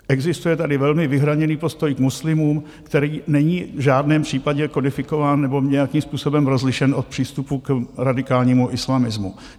Existuje tady velmi vyhraněný postoj k muslimům, který není v žádném případě kodifikován nebo nějakým způsobem rozlišen od přístupu k radikálnímu islamismu.